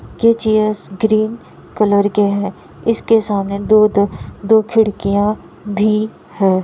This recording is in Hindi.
ये चेयर्स ग्रीन कलर के है इसके सामने दो-दो दो खिड़किया भी है।